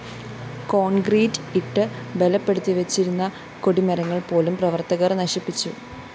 concrete ഇട്ട് ബലപ്പെടുത്തിവച്ചിരുന്ന കൊടിമരങ്ങള്‍ പോലും പ്രവര്‍ത്തകര്‍ നശിപ്പിച്ചു